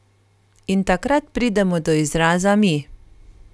In takrat pridemo do izraza mi.